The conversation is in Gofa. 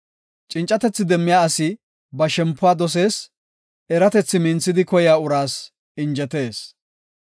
Cincatethi demmiya asi ba shempuwa dosees; eratethi minthidi oykiya uraas injetees.